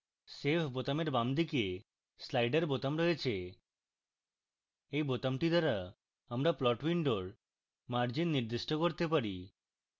save বোতামের বাম দিকে slider বোতাম রয়েছে এই বোতামটি দ্বারা আমরা plot window margins নির্দিষ্ট করতে পারি